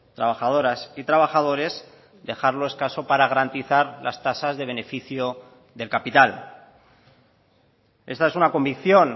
trabajadoras y trabajadores dejarlo escaso para garantizar las tasas de beneficio del capital esta es una convicción